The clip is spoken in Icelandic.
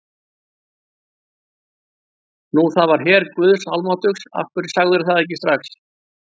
Nú, það var her guðs almáttugs, af hverju sagðirðu það ekki strax.